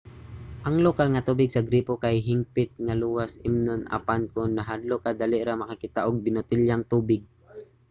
ang lokal nga tubig sa gripo kay hingpit nga luwas imnon apan kon nahadlok ka dali ra makakita og binotelyang tubig